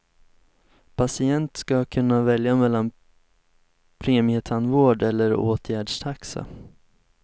Patienten ska kunna välja mellan premietandvård eller åtgärdstaxa.